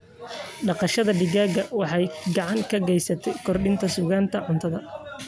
Dhaqashada digaaga waxay gacan ka geysataa kordhinta sugnaanta cuntada.